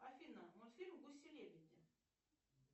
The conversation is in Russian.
афина мультфильм гуси лебеди